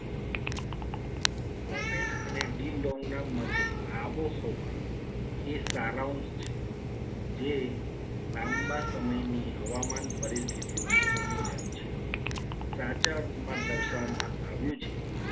Popen અને d long ના મતે આબોહવા એ સારાંશ છે. જે લાંબા સમયની હવામાન પરિસ્થિતિઓનું સંયોજન છે. સાચા અર્થમાં દર્શાવવામાં આવ્યું છે.